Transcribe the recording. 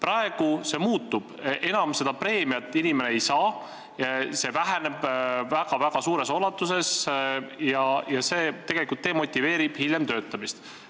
Nüüd see muutub: inimene sellist preemiat enam ei saa, see väheneb väga-väga suures ulatuses, mis tegelikult demotiveerib kauem töötamist.